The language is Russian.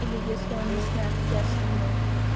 или если он не снят я сниму